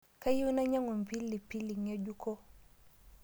Kayieu anyiang'u mpilipili ng'ejuko